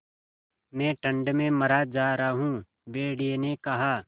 मैं ठंड में मरा जा रहा हूँ भेड़िये ने कहा